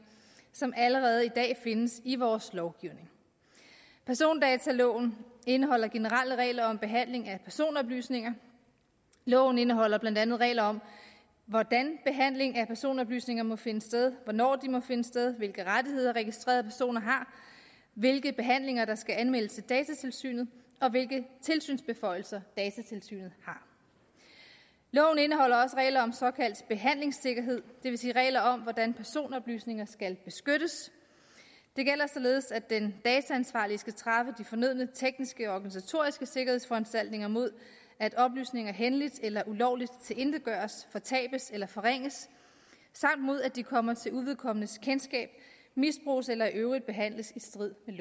som allerede i dag findes i vores lovgivning persondataloven indeholder generelle regler om behandling af personoplysninger loven indeholder blandt andet regler om hvordan behandling af personoplysninger må finde sted hvornår de må finde sted hvilke rettigheder registrerede personer har hvilke behandlinger der skal anmeldes til datatilsynet og hvilke tilsynsbeføjelser datatilsynet har loven indeholder også regler om såkaldt behandlingssikkerhed det vil sige regler om hvordan personoplysninger skal beskyttes det gælder således at den dataansvarlige skal træffe de fornødne tekniske og organisatoriske sikkerhedsforanstaltninger mod at oplysninger hændeligt eller ulovligt tilintetgøres fortabes eller forringes samt mod at de kommer til uvedkommendes kendskab misbruges eller i øvrigt behandles i strid med